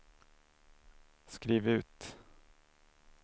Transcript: skriv ut